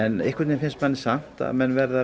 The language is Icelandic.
en einhvern veginn finnst manni samt að menn verði að